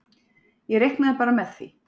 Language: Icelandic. Ég reiknaði bara með því.